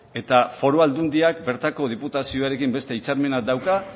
eta foru aldundiak bertako diputazioarekin beste hitzarmena dauka